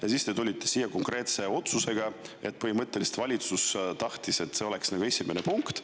Ja siis te tulite siia konkreetse otsusega, kuna valitsus tahtis, et see oleks esimene punkt.